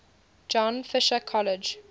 john fisher college